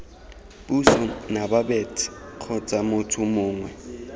puso nababet kgotsa motho mongwe